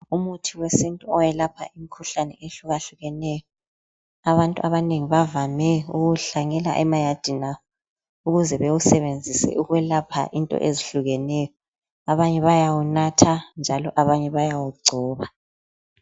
Umuthi wesintu owelapha imkhuhlane eyehlukahlukeneyo. Abantu abanengi bavame ukuwuhlanyela emayadini abo. Ukuze bewusebenzise ukwelapha into ezihlukeneyo. Abanye bayawunatha njalo abanye bayawu gcoba.